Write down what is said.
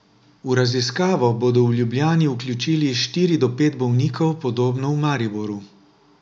V raziskavo bodo v Ljubljani vključili štiri do pet bolnikov, podobno v Mariboru.